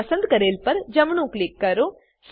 હવે પસંદ કરેલ પર જમણું ક્લિક કરો